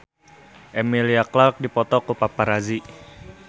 Emilia Clarke dipoto ku paparazi